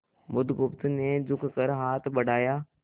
बुधगुप्त ने झुककर हाथ बढ़ाया